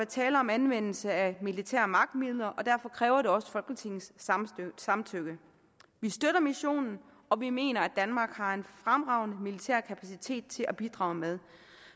tale om anvendelse af militære magtmidler og derfor kræver det også folketingets samtykke vi støtter missionen og vi mener at danmark har en fremragende militær kapacitet at bidrage med